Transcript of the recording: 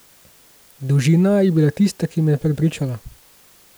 Dolžina je bila tista, ki me je prepričala.